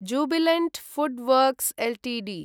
Jubilant FoodWorks Ltd